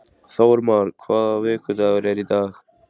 Þórmar, hvaða vikudagur er í dag?